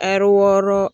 Ari wɔɔrɔ